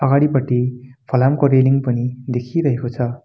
अगाडिपट्टि फलामको रेलिङ पनि देखिरहेको छ।